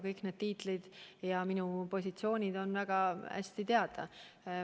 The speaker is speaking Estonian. Kõik need tiitlid ja ametid on väga hästi teada.